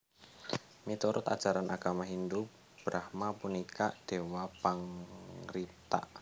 Miturut ajaran agama Hindhu Brahma punika Déwa pangripta